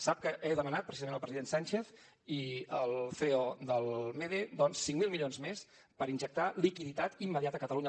sap que he demanat precisament al president sánchez i al ceo del mede doncs cinc mil milions més per injectar liquiditat immediata a catalunya